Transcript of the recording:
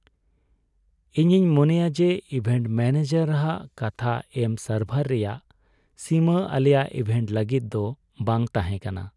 ᱤᱧᱤᱧ ᱢᱚᱱᱮᱭᱟ ᱡᱮ ᱤᱵᱷᱮᱱᱴ ᱢᱮᱱᱮᱡᱟᱨ ᱦᱟᱜ ᱠᱟᱛᱷᱟ ᱮᱢ ᱥᱟᱨᱵᱷᱟᱨ ᱨᱮᱭᱟᱜ ᱥᱤᱢᱟᱹ ᱟᱞᱮᱭᱟᱜ ᱤᱵᱷᱮᱱᱴ ᱞᱟᱹᱜᱤᱫ ᱫᱚ ᱵᱟᱝ ᱛᱟᱦᱮᱸ ᱠᱟᱱᱟ ᱾